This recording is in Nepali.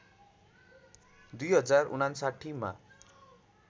२०५९ मा